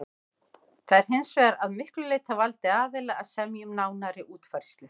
Það er hins vegar að miklu leyti á valdi aðila að semja um nánari útfærslu.